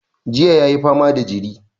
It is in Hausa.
Jiya ya yi fama da jiri.